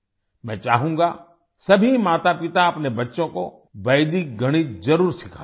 मैं चाहूँगा सभी मातापिता अपने बच्चों को वैदिक गणित जरुर सिखाएँ